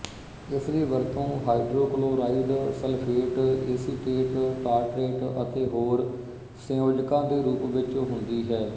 ਇਸ ਦੀ ਵਰਤੋਂ ਹਾਇਡਰੋਕਲੋਰਾਈਡ ਸਲਫੇਟ ਏਸੀਟੇਟ ਟਾਰਟਰੇਟ ਅਤੇ ਹੋਰ ਸੰਯੋਜਕਾਂ ਦੇ ਰੂਪ ਵਿੱਚ ਹੁੰਦੀ ਹੈ